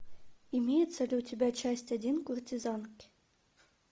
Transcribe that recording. имеется ли у тебя часть один куртизанки